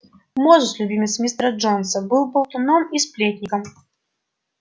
мозус любимец мистера джонса был болтуном и сплетником